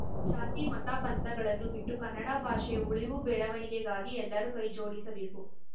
ಜಾತಿ ಮತ ಪಂಥಗಳನ್ನು ಬಿಟ್ಟು ಕನ್ನಡ ಭಾಷೆಯ ಉಳಿವು ಬೆಳವಣಿಗೆಗಾಗಿ ಎಲ್ಲರೂ ಕೈಜೋಡಿಸಬೇಕು